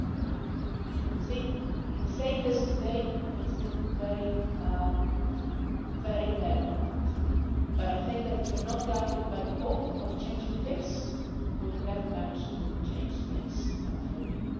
I know that saying this today can seem very, very optimistic, but I think that if we are not guided by the hope of changing things, we will never manage to change things for real.